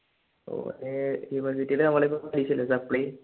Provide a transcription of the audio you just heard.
ഓന് നമ്മുടെ ഇപ്പൊ പരീക്ഷയില്ലേ supply